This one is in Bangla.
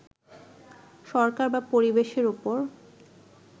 সরকার বা পরিবেশের উপর